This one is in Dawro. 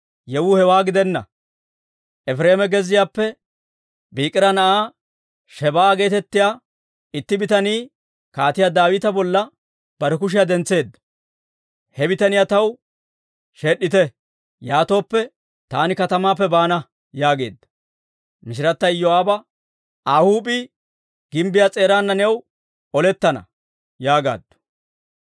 Yewuu hewaa gidenna; Efireema gezziyaappe Biikira na'aa Shebaa'a geetettiyaa itti bitanii Kaatiyaa Daawita bolla bare kushiyaa dentseedda. He bitaniyaa taw sheed'd'ite; yaatooppe, taani katamaappe baana» yaageedda. Mishirata Iyoo'aaba, «Aa huup'ii gimbbiyaa s'eeraana new olettana» yaagaaddu.